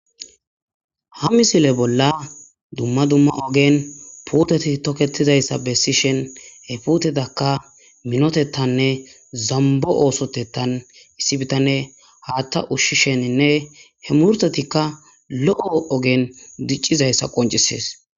Ha misile bolla dumma dumma ogen puteti toketizaysa besishin he putetakka minotetanne zambo osotetan issi bitaney Hatha ushishenne he murutatikka lo'o ogen dicizaysa qoncises